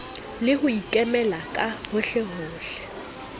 le ho ikemela ka hohlehohle